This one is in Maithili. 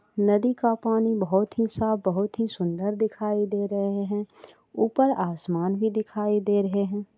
नदी का पानी बहोत ही साफ बहोत ही सुन्दर दिखाई दे रहे है ऊपर आसमान भी दिखाई दे रहे है।